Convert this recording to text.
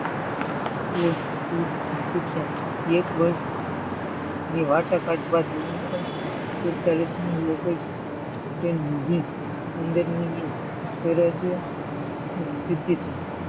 એક વર્ષ સ્વરાજ્ય લીધું છે. તે દિવસે ભારત નો બીજો તહત,